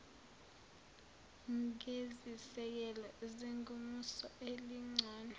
ngezisekelo zengomuso elingcono